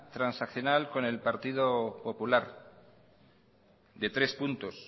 transaccional con el partido popular de tres puntos